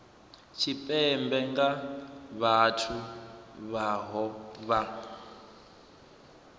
tshipembe nga vhathu vhohe vha